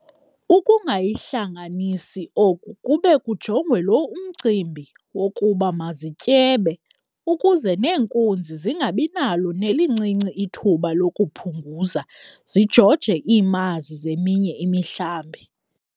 Ukungayihlanganisi oku kube kujongwe lo mcimbi wokuba mazityebe, ukuze neenkunzi zingabinalo nelincinci ithuba lokuphunguza zijoje iimazi zeminye imihlambi.